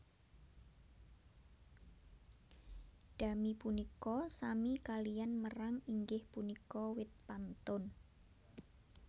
Dami punika sami kaliyan merang inggih punika wit pantun